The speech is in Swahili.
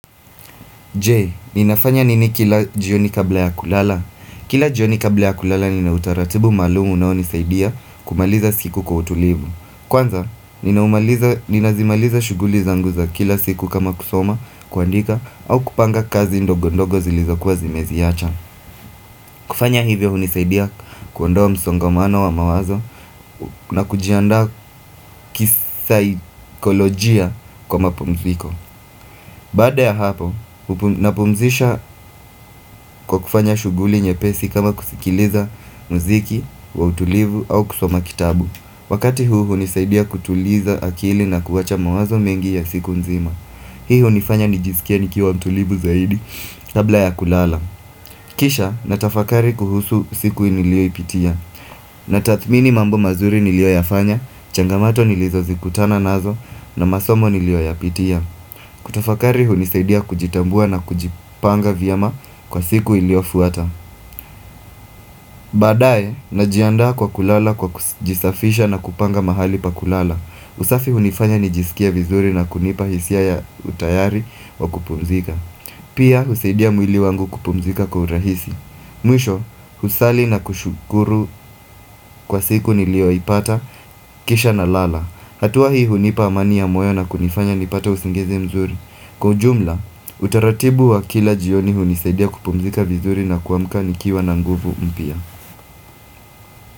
Je, ninafanya nini kila jioni kabla ya kulala Kila jioni kabla ya kulala nina utaratibu maalumu unaonisaidia kumaliza siku kwa utulivu. Kwanza, ninazimaliza shuguli zangu za kila siku kama kusoma kuandika au kupanga kazi ndogo ndogo zilizokuwa zimeziziacha kufanya hivyo hunisaidia kuondoa msongamano wa mawazo na kujiandaa kisaikolojia kwa mapumziko Baada ya hapo, napumzisha kwa kufanya shuguli nyepesi kama kusikiliza mziki wa utulivu au kusoma kitabu. Wakati huu hunisaidia kutuliza akili na kuwacha mawazo mengi ya siku nzima. Hii hunifanya nijisikie nikiwa mtulivu zaidi, kabla ya kulala. Kisha, natafakari kuhusu siku niliyoipitia. Natathmini mambo mazuri niliyoyafanya, changamato nilizozikutana nazo, na masomo nilioyapitia. Kutafakari hunisaidia kujitambua na kujipanga vyema kwa siku iliofuata Baadae najiandaa kwa kulala kwa kujisafisha na kupanga mahali pa kulala. Usafi hunifanya nijisikie vizuri na kunipa hisia ya utayari wa kupumzika Pia husaidia mwili wangu kupumzika kwa urahisi Mwisho kusali na kushukuru kwa siku niliyoipata kisha nalala. Hatua hii hunipa amani ya moyo na kunifanya nipate usingizi mzuri. Kwa ujumla, utaratibu wa kila jioni hunisaidia kupumzika vizuri na kuamka nikiwa na nguvu mpia.